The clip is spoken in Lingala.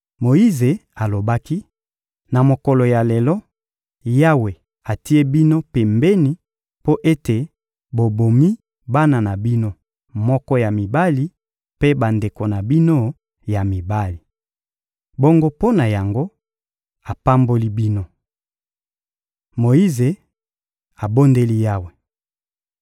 Moyize alobaki: — Na mokolo ya lelo, Yawe atie bino pembeni mpo ete bobomi bana na bino moko ya mibali mpe bandeko na bino ya mibali. Bongo mpo na yango, apamboli bino. Moyize abondeli Yawe